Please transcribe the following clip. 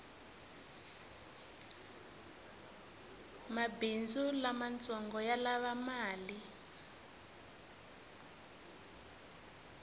mabhindzu lamatsongo yalava mali